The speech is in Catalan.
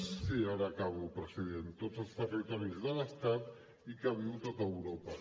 sí ara acabo president tots els territoris de l’estat i que viu tot europa